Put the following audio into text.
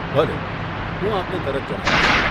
ભલે, હું આપને તરત જણાવીશ.